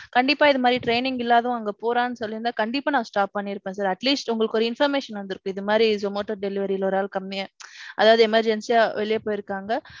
கண்டிப்பா இது மாதிரி training இல்லாதவன் அங்க போறான்னு சொல்லி இருந்த கண்டிப்பா நான் stop பன்னிருப்பேன் sir. atleast உங்களுக்கு ஒரு information வந்திருக்கும் இது மாதிரி zomato delivery ல ஒரு ஆள் கம்மியா. அதாவது emergency யா வெளிய போயிருக்காங்க.